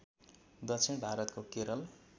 दक्षिण भारतको केरल